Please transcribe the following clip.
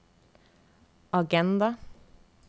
agenda